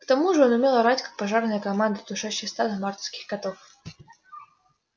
к тому же он умел орать как пожарная команда тушащая стадо мартовских котов